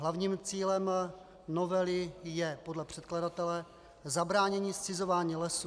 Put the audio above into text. Hlavním cílem novely je podle předkladatele zabránění zcizování lesů.